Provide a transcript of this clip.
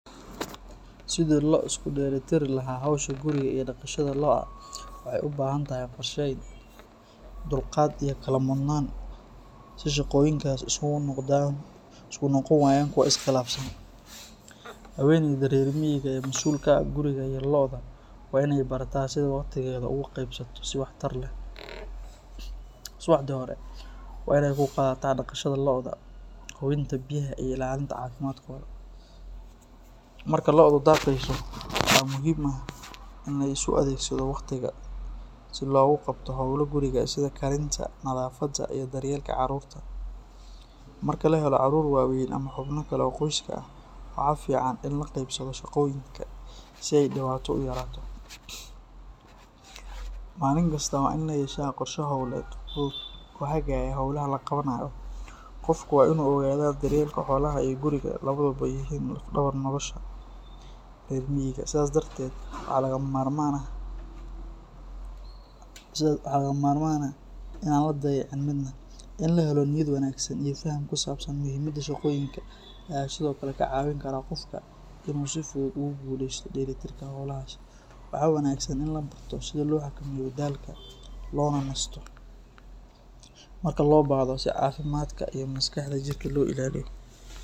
Sidii loo isku dheelitiri lahaa howsha guriga iyo daaqaasha lo’da waxay u baahan tahay qorsheyn, dulqaad iyo kala mudnaan si shaqooyinkaasi isugu noqon waayaan kuwo is khilaafsan. Haweeneyda reer miyiga ah ee masuulka ka ah guriga iyo lo’da waa in ay barataa sida waqtigeeda ugu qaybsato si waxtar leh. Subaxdii hore waa in ay ku qaadataa daaqaasha lo’da, hubinta biyaha iyo ilaalinta caafimaadkooda. Marka lo’du daaqayso, waxaa muhiim ah in la isu adeegsado waqtigaas si loogu qabto howlo guriga sida karinta, nadaafadda iyo daryeelka carruurta. Marka la helo carruur waaweyn ama xubno kale oo qoyska ah, waxaa fiican in la qaybsado shaqooyinka si ay dhibaato u yaraato. Maalin kasta waa in la yeeshaa qorshe hawleed fudud oo hagaya hawlaha la qabanayo. Qofku waa inuu ogaadaa in daryeelka xoolaha iyo guriga labaduba yihiin laf-dhabar nolosha reer miyiga, sidaas darteed waxaa lagama maarmaan ah in aan la dayicin midna. In la helo niyad wanaagsan iyo faham ku saabsan muhiimadda shaqooyinka ayaa sidoo kale ka caawin kara qofka inuu si fudud ugu guuleysto dheelitirka howlahaas. Waxaa wanaagsan in la barto sida loo xakameeyo daalka, loona nasto marka loo baahdo si caafimaadka maskaxda iyo jirka loo ilaaliyo.